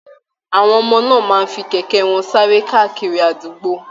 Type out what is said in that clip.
Àwọn ọmọ náà máa fi kẹ̀kẹ́ wọn sáré káàkiri àdúgbò